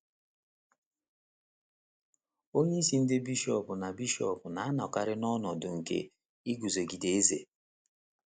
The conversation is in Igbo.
Onyeisi ndị bishọp na - bishọp na - anọkarị n’ọnọdụ nke iguzogide eze.